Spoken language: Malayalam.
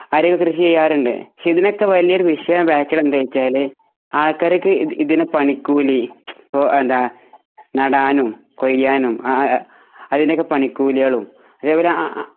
കൃഷി ചെയ്യാറുണ്ട് ഇതിനൊക്കെ പ്രശനം എന്തെന്നുവച്ചാൽ ആൾക്കാർക്ക് ഇതിന് പണിക്കൂലി നടാനും കൊഴിയാനും അതിനൊക്കെ പണിക്കൂലിയും അതെ പോലെ